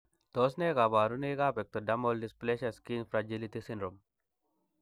Tos nee koborunoikab Ectodermal dysplasia skin fragility syndrome?